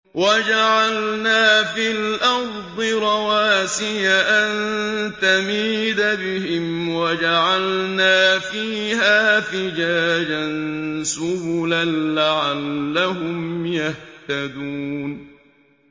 وَجَعَلْنَا فِي الْأَرْضِ رَوَاسِيَ أَن تَمِيدَ بِهِمْ وَجَعَلْنَا فِيهَا فِجَاجًا سُبُلًا لَّعَلَّهُمْ يَهْتَدُونَ